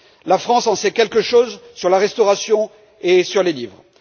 La France en sait quelque chose sur la restauration et sur les livres.